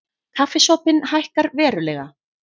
Kaffisopinn hækkar verulega